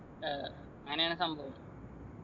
അഹ് അങ്ങനെയാണ് സംഭവം